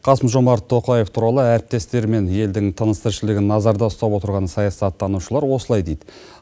қасым жомарт тоқаев туралы әріптестері мен елдің тыныс тіршілігін назарда ұстап отырған саясаттанушылар осылай дейді